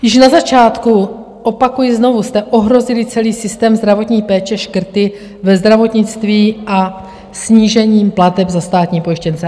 Již na začátku, opakuji znovu, jste ohrozili celý systém zdravotní péče škrty ve zdravotnictví a snížením plateb za státní pojištěnce.